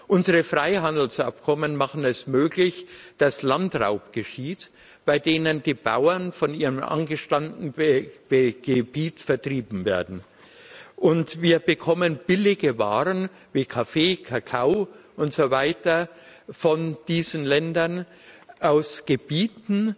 Unsere Freihandelsabkommen machen es möglich, dass Landraub geschieht, bei dem die Bauern aus ihrem angestammten Gebiet vertrieben werden. Wir bekommen billige Waren, wie Kaffee, Kakao und so weiter, von diesen Ländern aus Gebieten,